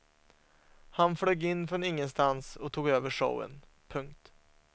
Han flög in från ingenstans och tog över showen. punkt